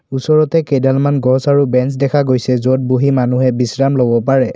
ওচৰতে কেইডালমান গছ আৰু বেঞ্চ দেখা গৈছে য'ত বহি মানুহে বিশ্ৰাম ল'ব পাৰে।